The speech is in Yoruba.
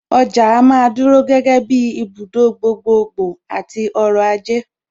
Ọjà á máa dúró gẹ́gẹ́ bíi ibùdó gbogbogbò àti ọrọ̀-ajé.